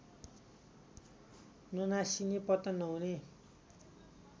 ननासिने पतन नहुने